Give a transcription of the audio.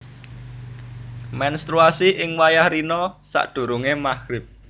Mènstruasi ing wayah rina sadurungé Maghrib